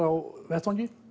á vettvangi